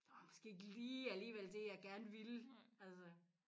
Det var måske ikke lige alligevel det jeg gerne ville altså